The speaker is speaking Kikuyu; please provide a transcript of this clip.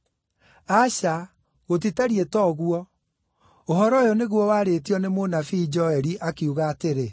Aca gũtitariĩ ta ũguo, ũhoro ũyũ nĩguo warĩtio nĩ mũnabii Joeli, akiuga atĩrĩ: